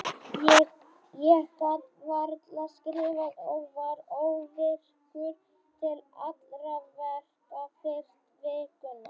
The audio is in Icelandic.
Ég gat varla skrifað og var óvirkur til allra verka fyrstu vikuna.